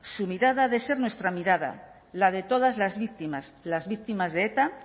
su mirada ha de ser nuestra mirada la de todas las víctimas las víctimas de eta